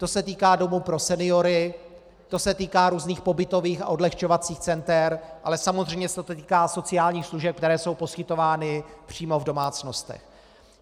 To se týká domů pro seniory, to se týká různých pobytových a odlehčovacích center, ale samozřejmě se to týká sociálních služeb, které jsou poskytovány přímo v domácnostech.